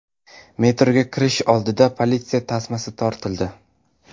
Metroga kirish oldida politsiya tasmasi tortildi.